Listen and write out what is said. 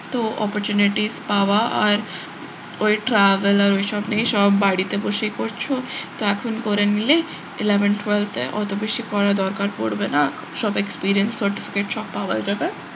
তো opportunities পাওয়া আর ওই travel আর ওইসব নেই সব বাড়িতে বসেই করছো তো এখন করে নিলে eleven twelfth এ অত বেশি পড়ার দরকার পড়বে না সব experience certificate সব পাওয়া যাবে,